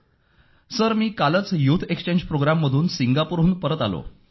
sir मी कालच youth exchange प्रोग्राममधून सिंगापूरहून परत आलो